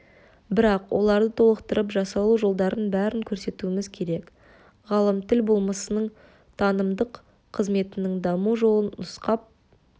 бірақ оларды толықтырып жасалу жолдарының бәрін көрсетуіміз керек ғалым тіл болмысының танымдық қызметінің даму жолын нұсқап